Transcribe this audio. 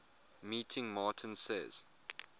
meeting martin says